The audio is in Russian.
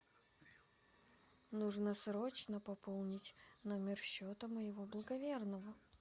нужно срочно пополнить номер счета моего благоверного